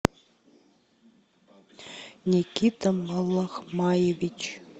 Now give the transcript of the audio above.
никита малахмаевич